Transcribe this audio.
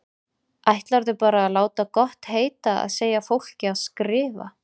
Ætlarðu bara að láta gott heita að segja fólki að skrifa!